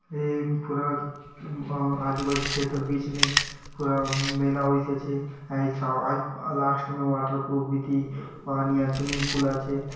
ए अम्म पूरा अम आ आजु-बाजु खेत अर बीच में पूरा मेला वइसे छे लास्ट में वाटर प्रूफ पानी आ स्विमिंग पूल आचे।